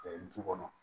du kɔnɔ